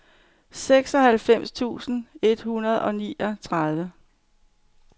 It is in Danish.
seksoghalvfems tusind et hundrede og niogtredive